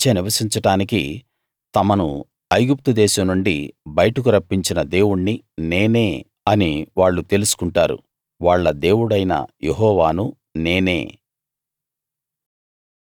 వాళ్ళ మధ్య నివసించడానికి తమను ఐగుప్తు దేశం నుండి బయటకు రప్పించిన దేవుణ్ణి నేనే అని వాళ్ళు తెలుసుకుంటారు వాళ్ళ దేవుడైన యెహోవాను నేనే